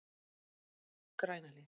Grænahlíð